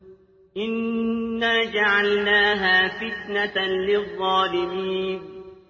إِنَّا جَعَلْنَاهَا فِتْنَةً لِّلظَّالِمِينَ